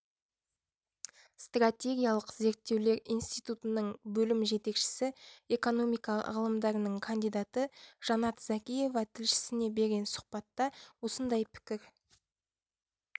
стратегиялық зерттеулер институтының бөлім жетекшісі экономика ғылымдарының кандидаты жанат закиева тілшісіне берген сұхбатта осындай пікір